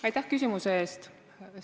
Aitäh küsimuse eest!